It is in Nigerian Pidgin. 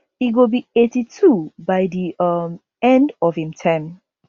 e go be 82 by di um end of im term